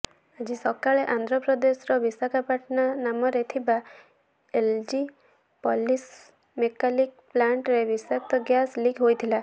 ଆଜି ସକାଳେ ଆନ୍ଧ୍ରପ୍ରଦେଶର ବିଶାଖାପଟନମରେ ଥିବା ଏଲଜି ପଲିମର୍ସ କେମିକାଲ ପ୍ଲାଣ୍ଟରେ ବିଷାକ୍ତ ଗ୍ୟାସ ଲିକ୍ ହୋଇଥିଲା